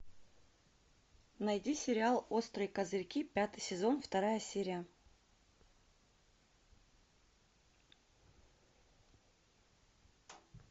найди сериал острые козырьки пятый сезон вторая серия